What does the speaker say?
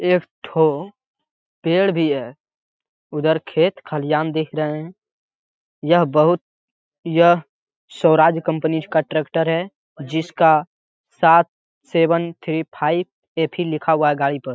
एक ठो पेड़ भी है। उधर खेत खलिहान दिख रहे है। यह बहुत यह स्वराज कंपनी का ट्रेक्टर है। जिसका सात सेवन थ्री फाइव एथी लिखा हुआ है गाड़ी पर।